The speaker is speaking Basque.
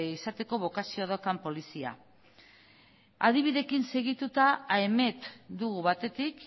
izateko bokazioa daukan polizia adibideekin segituta aemet dugu batetik